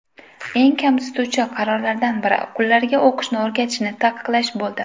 Eng kamsituvchi qarorlardan biri, qullarga o‘qishni o‘rganishni taqiqlash bo‘ldi.